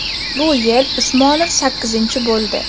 Bu yil Usmonov sakkizinchi bo‘ldi.